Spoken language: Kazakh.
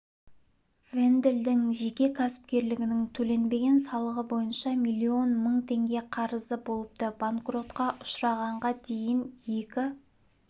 венделдің жеке кәсіпкерлігінің төленбеген салығы бойынша миллион мың теңге қарызы болыпты банкротқа ұшырағанға дейін екі